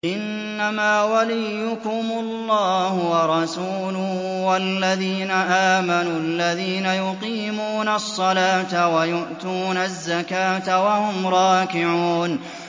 إِنَّمَا وَلِيُّكُمُ اللَّهُ وَرَسُولُهُ وَالَّذِينَ آمَنُوا الَّذِينَ يُقِيمُونَ الصَّلَاةَ وَيُؤْتُونَ الزَّكَاةَ وَهُمْ رَاكِعُونَ